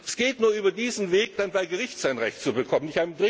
Es geht nur über diesen Weg, bei Gericht sein Recht zu bekommen.